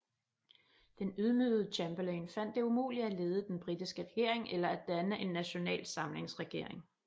Den ydmygede Chamberlain fandt det umuligt at lede den britiske regering eller at danne en national samlingsregering